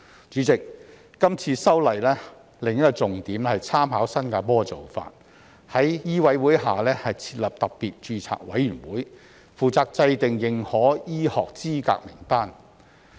主席，今次修例的另一個重點是參考新加坡的做法，在香港醫務委員會下設立特別註冊委員會，負責制訂認可醫學資格名單。